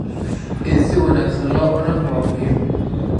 In si wanaagsan loo cuno waa muhiim.